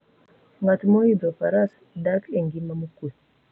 Ng'at moidho faras dak e ngima mokuwe.